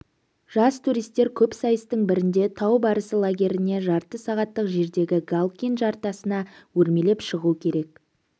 жас туристер көп сайыстың бірінде тау барысы лагерінен жарты сағаттық жердегі галкин жартасына өрмелеп шығу керек